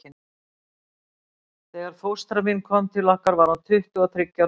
Þegar fóstra mín kom til okkar var hún tuttugu og þriggja ára gömul.